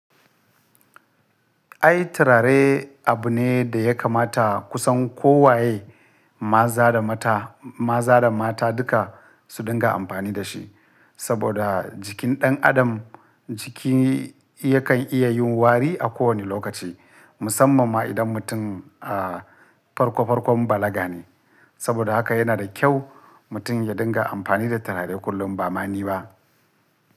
Ai turare abu ne da ya kamata kusan kowa ye, maza da mata, maza da mata duka su dinga amfani da shi. Saboda jikin ɗan adam jiki yakan iya yin wari a kowane lokaci, musamman ma idan mutum a farko farkon balaga ne. Saboda haka yana da kyau mutum ya dinga amfani da turare kullum ba mani ba.